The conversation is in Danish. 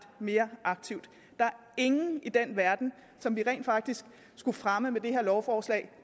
mere aktivt der er ingen i den verden som vi rent faktisk skulle fremme med det her lovforslag